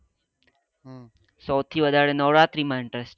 સૌથી નવરાત્રી માં interest છે